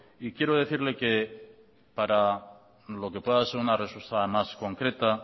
y quiero decirle que para lo que pueda ser una respuesta más concreta